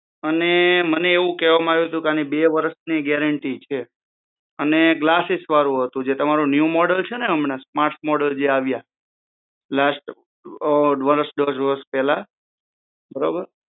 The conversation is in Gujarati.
અને મને એવું કેવામાં આવ્યું હતું કે આની બે વર્ષની ગેરંટી છે અને ગલાસિસવાળું હતું જે તમારું ન્યુ મોડેલ છે ને હમણાં સ્માર્ટ મોડેલ જે આવ્યા લાસ્ટ વર્ષ દોઢ વર્ષ પહેલાં બરોબર